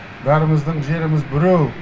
бәріміздің жеріміз біреу